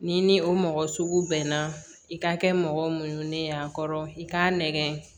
N'i ni o mɔgɔ sugu bɛnna i ka kɛ mɔgɔ munɲunen y'a kɔrɔ i k'a nɛgɛn